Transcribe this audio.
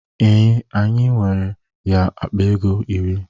Ee, anyị nyere ya akpa ego iri.